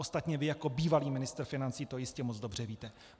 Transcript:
Ostatně vy jako bývalý ministr financí to jistě moc dobře víte.